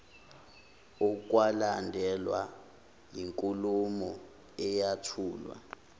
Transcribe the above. okwalandelwa yinkulumo eyathulwa